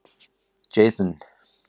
Jason